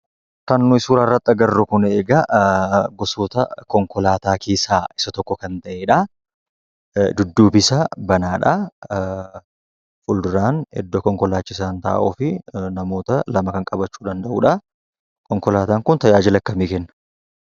Kan nuyi suuraa irratti agarru kuni egaa gosoota konkolaataa keessaa isa tokko kan ta'edhaa. dudduubi isaa banaadhaa. Fuulduraan iddoo konkolaachisaan taa'uu fi namoota lama kan qabachuu danda'udhaa. Konkolaataan kun tajaajila akkamii kenna?